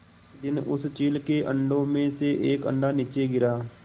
एक दिन उस चील के अंडों में से एक अंडा नीचे गिरा